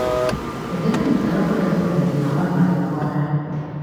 Hūthīri mītaro kūrīa kwī na thīna wa maī kwaraha